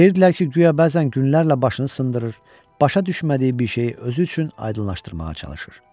Deyirdilər ki, guya bəzən günlərlə başını sındırır, başa düşmədiyi bir şeyi özü üçün aydınlaşdırmağa çalışır.